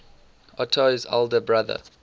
otto's elder brother